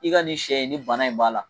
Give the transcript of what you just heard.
I ka nin sɛ in nin bana in b'a la